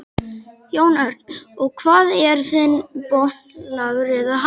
Jón Örn: Og hvað er þinn botn lágur eða hár?